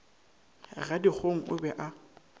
ga dikgong o be a